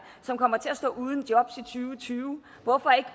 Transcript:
som kommer til at stå uden job og tyve hvorfor ikke